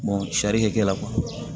sarikɛ la